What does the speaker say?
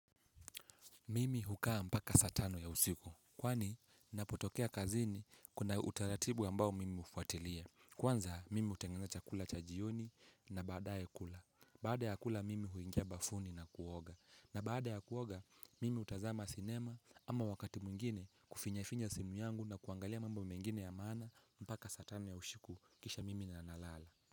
Mimi hukaa mpaka saa tano ya usiku. Kwani napotokea kazini kuna utaratibu ambao mimi hufuatilia. Kwanza mimi utengeneza chakula chajioni na badae kula. Baada ya kula mimi huingia bafuni na kuoga. Na baada ya kuoga mimi hutazama sinema ama wakati mwingine kufinyafinya simu yangu na kuangalia mambo mengine ya maana mpaka saa tano ya usiku kisha mimi na nalala.